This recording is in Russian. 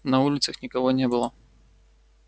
на улицах никого не было